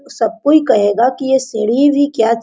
सब कोई कहेगा की ये सीढ़ी भी क्या --